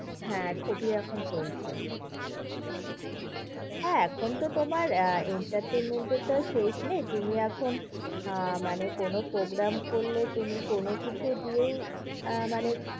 হ্যাঁ খুবই এখন চলছে। হ্যাঁ এখন তো তোমার আহ entertainment এর তো আর শেষ নেই। তুমি এখন আহ মানে কোনো programme করলে তুমি কোনোকিছু দিয়েই আহ মানে